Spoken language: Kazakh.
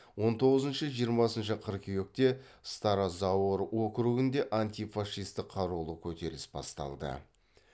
он тоғызыншы жиырмасыншы қыркүйекте старозаор округінде антифашистік қарулы көтеріліс басталды